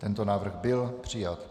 Tento návrh byl přijat.